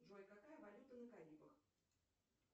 джой какая валюта на карибах